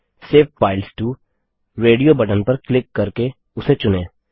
save files to radio button पर click करके उसे चुनें